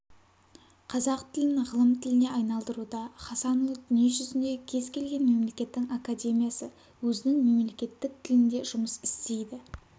қазақ тілін ғылым тіліне айналдыруда хасанұлы дүниежүзіндегі кез келген мемлекеттің академиясы өзінің мемлекеттік тілінде жұмыс істейді